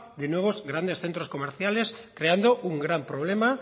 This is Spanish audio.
de nuevos grandes centros comerciales creando un gran problema